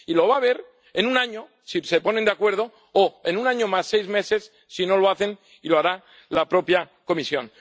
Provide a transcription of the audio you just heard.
sabe. Y las va a haber en un año, si se ponen de acuerdo, o en un año más seis meses si no lo hacen y lo hará la propia Comisión.